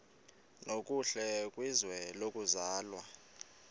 nokuhle kwizwe lokuzalwa